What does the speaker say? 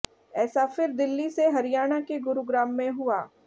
ऐसा फिर दिल्ली से हरियाणा के गुरुग्राम में हुआ